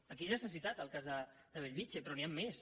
aquí ja s’ha citat el cas de bellvitge però n’hi han més